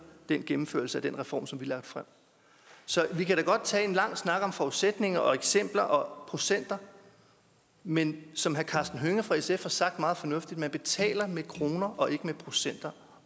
gennemførelsen af den reform som vi har lagt frem så vi kan da godt tage en lang snak om forudsætninger og eksempler og procenter men som herre karsten hønge fra sf sagde meget fornuftigt betaler med kroner og ikke med procenter